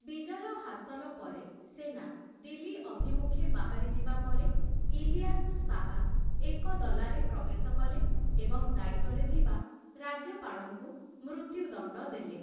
ବିଜୟ ହାସଲ ପରେ, ସେନା ଦିଲ୍ଲୀ ଅଭିମୁଖେ ବାହାରିଯିବା ପରେ ଇଲିୟାସ ଶାହ ଏକଦଲାରେ ପ୍ରବେଶ କଲେ ଏବଂ ଦାୟିତ୍ୱରେ ଥିବା ରାଜ୍ୟପାଳଙ୍କୁ ମୃତ୍ୟୁଦଣ୍ଡ ଦେଲେ ।